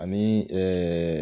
Ani ɛɛ